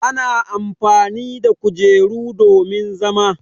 Ana amfani da kujeru domin zama.